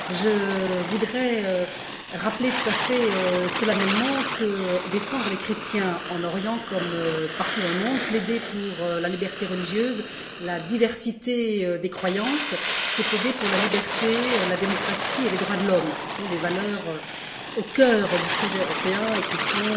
Je voudrais rappeler tout à fait solennellement que défendre les chrétiens en Orient comme partout dans le monde, plaider pour la liberté religieuse, la diversité des croyances, c'est plaider pour la liberté, la démocratie et les droits de l'homme, qui sont des valeurs au cœur du projet européen et qui sont,